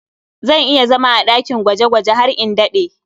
Zan iya zama a ɗakin gwaje-gwaje har in daɗe.